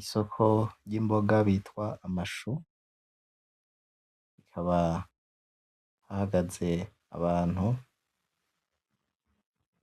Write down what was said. Isoko ry’ Imboga bita amashu, hakaba hahagaze abantu